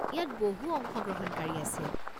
ইয়াত বহু অংশগ্ৰহণকাৰী আছিল।